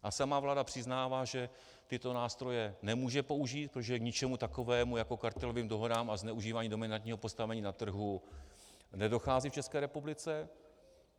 A sama vláda přiznává, že tyto nástroje nemůže použít, protože k ničemu takovému jako kartelovým dohodám a zneužívání dominantního postavení na trhu nedochází v České republice.